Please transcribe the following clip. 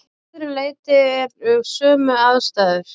Að öðru leyti eru sömu aðstæður.